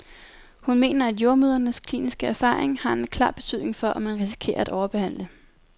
Hun mener, at jordemødrenes kliniske erfaring har en klar betydning for, om man risikerer at overbehandle.